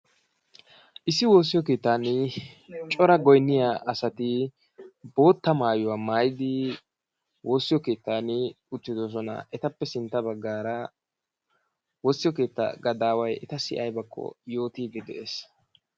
Issi woossiyo keettan cora goynniya asati boottaa maayuwaa maayyidi woossiyo keettan uttidoosona. Etappe sintta baggara woossiyo keetta gadaway etay aybbakko yootide de'es.